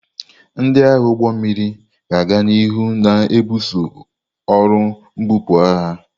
Ndị agha ụgbọ mmiri ga-aga n'ihu na-ebuso ọrụ mbupu agha.